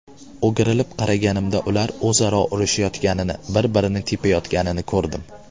O‘girilib qaraganimda ular o‘zaro urushayotganini, bir-birini tepayotganini ko‘rdim.